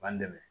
B'an dɛmɛ